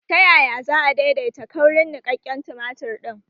Ta yaya za a daidaita kaurin niƙaƙƙen tumatir ɗin?